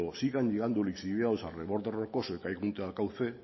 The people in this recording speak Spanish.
siga enviando lixiviados al cauce